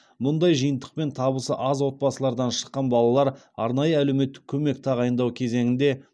мұндай жиынтықпен табысы аз отбасылардан шыққан балалар арнайы әлеуметтік көмек тағайындау кезеңінде